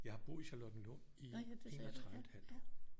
Jeg har boet i Charlottenlund i 31 et halvt år